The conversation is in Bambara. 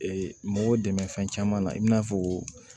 mɔgɔw dɛmɛ fɛn caman na i n'a fɔ